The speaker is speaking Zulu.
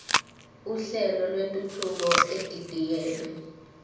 uhlelo lwentuthuko edidiyelwe